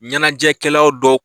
Ɲɛnajɛkɛla dɔw